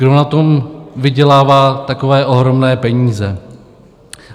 Kdo na tom vydělává takové ohromné peníze?